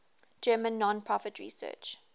german non profit research